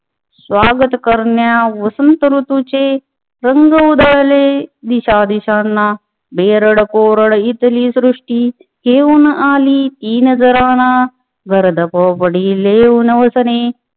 स्वागत करण्या वसंत ऋतुचे रंग उधळले दिशा दिशांना बेरड कोरड इथली सृष्टी घेऊन आली ती नजराणा गर्द पोपटी लेऊन वसने